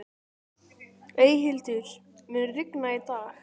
Eyhildur, mun rigna í dag?